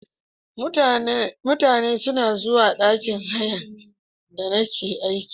Mutane suna zuwa ɗakin hayan da nake aiki.